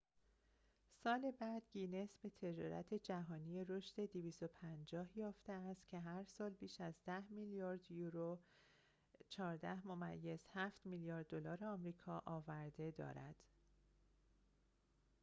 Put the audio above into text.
250 سال بعد، گینس به تجارتی جهانی رشد یافته است که هرسال بیش از 10 میلیارد یورو 14.7 میلیارد دلار آمریکا آورده دارد